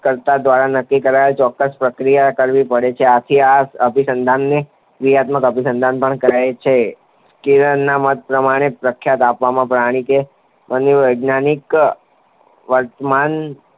કર્તા દ્વારા નક્કી કરેલ ચોક્કસ પ્રતિક્રિયા કરવી પડે છે. આથી આ અભિસંધાનને ક્રિયાત્મક અભિસંધાન તરીકે ઓળખવામાં આવે છે. સ્કિનરના મત પ્રમાણે પ્રબલન આપવાથી પ્રાણી કે માનવીના વર્તનને